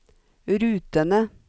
rutene